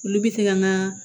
Olu bɛ se ka naa